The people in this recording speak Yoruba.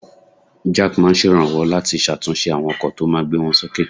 Jack máa ń ṣèrànwọ́ láti ṣàtúnṣe àwọn ọkọ̀ tó máa gbé wọn sókè